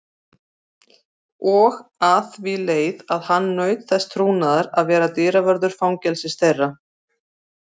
Og að því leið að hann naut þess trúnaðar að vera dyravörður fangelsis þeirra.